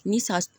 Ni sa